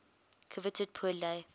coveted pour le